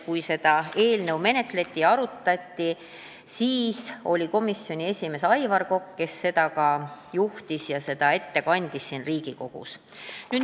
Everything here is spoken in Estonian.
Kui seda eelnõu enne menetleti ja arutati, siis oli komisjoni esimees Aivar Kokk, kes seda menetlust juhtis ja tutvustas eelnõu siin Riigikogus.